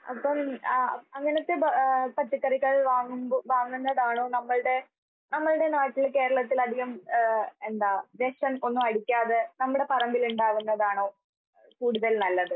അപ്പം ആഹ് അങ്ങനത്തെ ഭ പച്ചക്കറികൾ വാങ്ങുമ്പോൾ വാങ്ങുന്നതാണോ നമ്മൾടെ, നമ്മൾടെ ഈ നാട്ടില് കേരളത്തിലധികം ഏഹ് എന്താ വിഷം ഒന്നും അടിക്കാതെ നമ്മുടെ പറമ്പിൽ ഉണ്ടാകുന്നതാണോ കൂടുതൽ നല്ലത്?